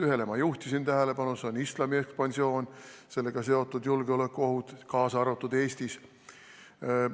Ühele juhtisin ma tähelepanu, see on islami ekspansioon ja sellega seotud julgeolekuohud, kaasa arvatud Eestis.